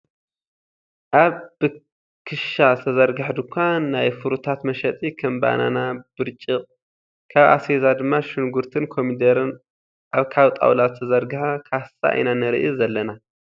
ኣብ ብክሻ ዝተዘርገሐ ድካን ናይ ፍሩታት መሸጢ ከም በነና ፣ ብርጭቅ፣ ካብ ኣስቤዛ ድማ ሽጉርትን ኮሚደረን ኣብ ካብ ጣውላ ዝተሰርሐ ካሳ ኢና ንርኢ ዘለና።